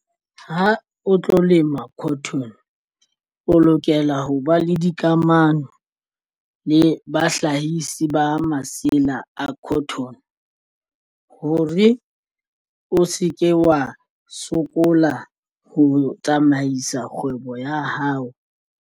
Ha o tlo lema cotton o lokela ho ba le dikamano le bahlahisi ba masela a cotton hore o se ke wa sokola ho tsamaisa kgwebo ya hao.